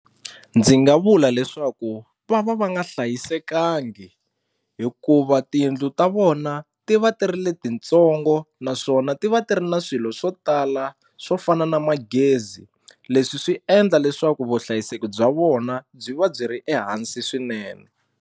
Ndzi nga vula leswaku va va va nga hlayisekangi hikuva tiyindlu ta vona ti va ti ri le ti ntsongo naswona ti va ti ri na swilo swo tala swo fana na magezi leswi swi endla leswaku vuhlayiseki bya vona byi va byi ri ehansi swinene.